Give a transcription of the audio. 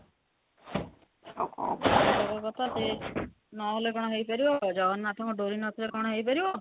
ଯୋଗପାଗ କଥା ନହେଲେ କଣ ହେଇପାରିବ ଜଗନ୍ନାଥ ଙ୍କ ଡୋରୀ ନଥିଲେ କଣ ହେଇପାରିବ